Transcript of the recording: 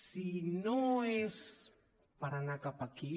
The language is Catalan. si no és per anar cap aquí